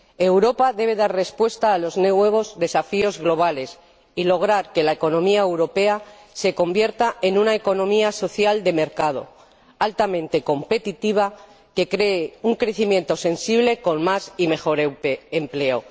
Europa debe dar respuesta a los nuevos desafíos globales y lograr que la economía europea se convierta en una economía social de mercado altamente competitiva y que cree un crecimiento perceptible, con más y mejor empleo.